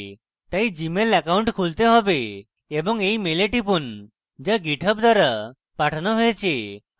তাই Gmail account খুলতে have এবং এই মেলে টিপুন so github দ্বারা পাঠানো হয়েছে